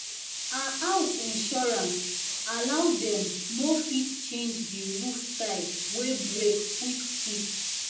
her house insurance allow dem to fit change the roof tile wey break quick quick.